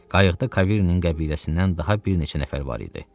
Qayıqda Kavirinin qəbiləsindən daha bir neçə nəfər var idi.